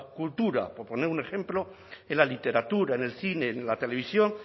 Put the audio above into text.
cultura por poner un ejemplo en la literatura en el cine en la televisión